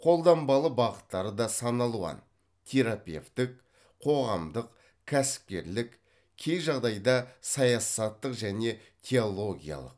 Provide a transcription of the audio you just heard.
қолданбалы бағыттары да сан алуан терапевттік қоғамдық кәсіпкерлік кей жағдайда саясаттық және теологиялық